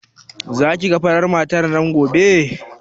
Za ki ga farar matar nan gobe?